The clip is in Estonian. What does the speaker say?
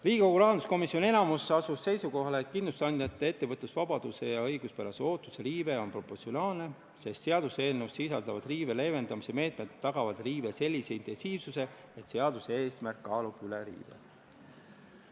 Riigikogu rahanduskomisjoni enamik asus seisukohale, et kindlustusandjate ettevõtlusvabaduse ja õiguspärase ootuse riive on proportsionaalne, sest seaduseelnõus sisalduvad riive leevendamise meetmed tagavad riive sellise intensiivsuse, et seaduse eesmärk kaalub riive üles.